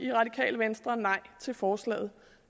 radikale venstre nej til forslaget